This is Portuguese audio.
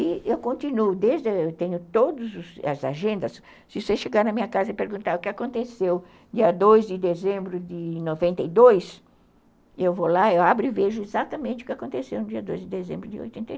E eu continuo, desde que eu tenho todas as agendas, se você chegar na minha casa e perguntar o que aconteceu dia dois de dezembro de noventa e dois, eu vou lá, eu abro e vejo exatamente o que aconteceu no dia dois de dezembro de oitenta e